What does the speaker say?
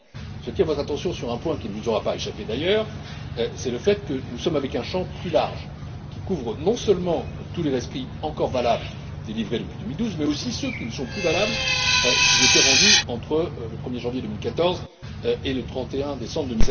Mais j'attire votre attention sur un point qui ne vous aura pas échappé d'ailleurs nous sommes face à un champ plus large qui couvre non seulement tous les rescrits encore valables délivrés depuis 2012, mais aussi ceux qui ne sont plus valables s'ils étaient rendus entre le 1er janvier 2014 et le 31 décembre